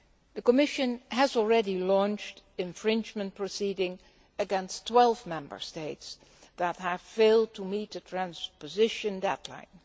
The Commission has already launched infringement proceedings against 12 Member States that have failed to meet the transposition deadline.